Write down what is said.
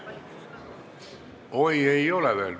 Oi, ei ole veel.